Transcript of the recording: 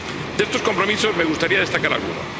De estos compromisos, me gustaría destacar alguno.